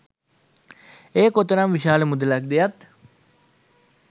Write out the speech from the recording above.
එය කොතරම් විශාල මුදලක් ද යත්